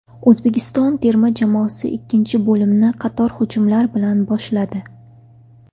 O‘zbekiston terma jamoasi ikkinchi bo‘limni qator hujumlar bilan boshladi.